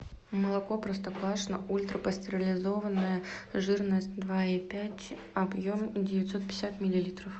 молоко простоквашино ультрапастеризованное жирность два и пять объем девятьсот пятьдесят миллилитров